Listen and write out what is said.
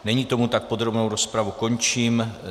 Není tomu tak, podrobnou rozpravu končím.